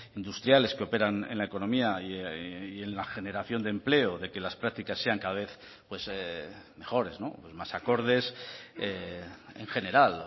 industriales que operan en la economía y en la generación de empleo de que las prácticas sean cada vez pues mejores más acordes en general